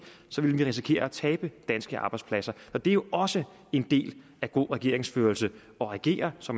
så ville vi risikere at tabe danske arbejdspladser for det er jo også en del af god regeringsførelse at regere så